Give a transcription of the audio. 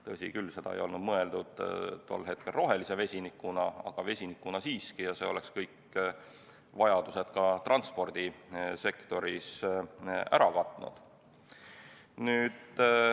Tõsi küll, see ei olnud mõeldud tol hetkel rohelise vesinikuna, aga vesinikuna siiski, ja see oleks kõik vajadused ka transpordisektoris ära katnud.